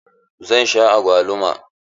Zan sha agwaluma.